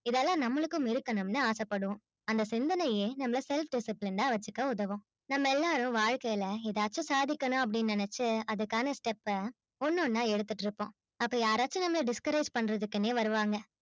இதெல்லாம் நம்மளுக்கும் இழுக்கணும் னு ஆச படுவோம் அந்த சிந்தனையே நம்மள self discipline ஆ வச்சிக்க உதவும் நம்ம எல்லாரும் வாழ்கையில எதாச்சும் சாதிக்கணும் அப்பிடின்னு நெனச்சு அதுக்கான step ஆ ஒன்னு ஒன்னா எடுத்துகிட்டு இருப்போம் அப்பா நம்மள யாராச்சும் discourage பண்ணரதுக்குனே வருவாங்க